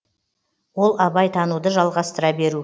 ол абай тануды жалғастыра беру